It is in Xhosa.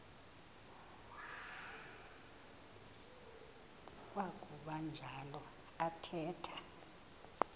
kwakuba njalo athetha